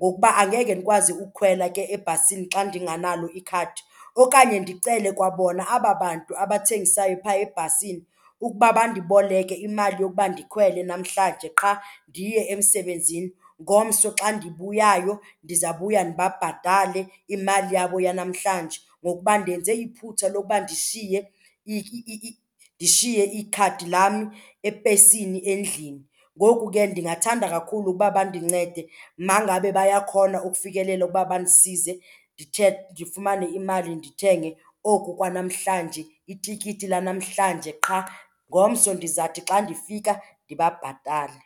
ngokuba angeke ndikwazi ukhwela ke ebhasini xa ndinganalo ikhadi. Okanye ndicele kwa bona aba bantu abathengisayo phaa ebhasini ukuba bandiboleke imali yokuba ndikhwele namhlanje qha ndiye emsebenzini. Ngomso xa ndibuyayo ndizawubuya ndibabhatale imali yabo yanamhlanje ngokuba ndenze iphutha lokuba ndishiye ndishiye ikhadi lam epesini endlini. Ngoku ke ndingathanda kakhulu uba bandincede ma ngabe bayakhona ukufikelela uba bandisize ndifumane imali ndithenge oku kwa namhlanje itikiti lanamhlanje qha. Ngomso ndizawuthi xa ndifika ndibabhatale.